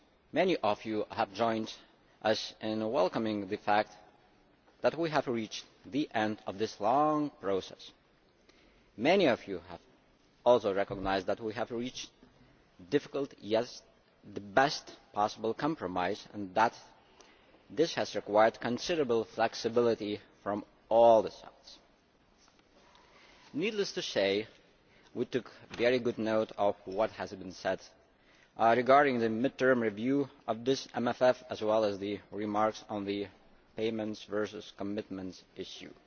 Many have joined us in welcoming the fact that we have reached the end of this long process. Many have also recognised that we have reached a difficult compromise, but the best possible compromise, and that this has required considerable flexibility from all sides. Needless to say, we took very good note of what has been said regarding the mid term review of this MFF, as well as the remarks on the payments versus commitments issue.